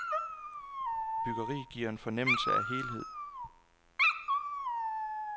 Byggeriet giver en fornemmelse af helhed.